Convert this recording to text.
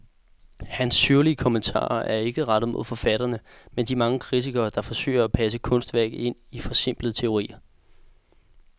Hans syrlige kommentarer er ikke rettet mod forfatterne, men de mange kritikere, der forsøger at passe kunstværket ind i forsimplende teorier.